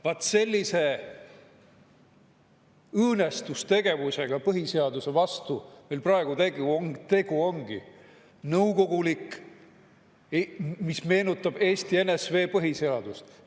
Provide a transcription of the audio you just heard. Vaat sellise õõnestustegevusega põhiseaduse vastu meil praegu tegu ongi, nõukoguliku, mis meenutab Eesti NSV põhiseadust.